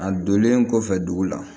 A donlen kɔfɛ dugu la